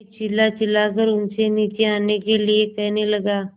मैं चिल्लाचिल्लाकर उनसे नीचे आने के लिए कहने लगा